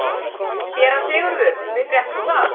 SÉRA SIGURÐUR: Við fréttum það.